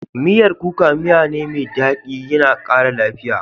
Miyar kuka miyane mai dadi kuma yana kara lafiya.